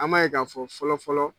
An m'a ye ka fɔ fɔlɔ fɔlɔ.